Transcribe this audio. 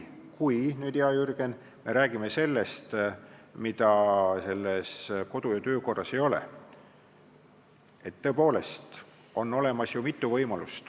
Kui me, hea Jürgen, räägime sellest, mida kodu- ja töökorras ei ole, siis tõepoolest on olemas ju mitu võimalust.